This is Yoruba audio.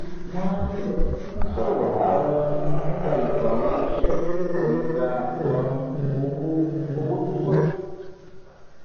wọ́n ń sọ̀rọ̀ um nípa ètò àwọn iṣẹ́ tí kò ní gba um owó owó tó pọ̀ jù